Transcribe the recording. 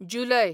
जुलय